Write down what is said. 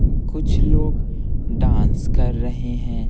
कुछ लोग डांस कर रहे हैं।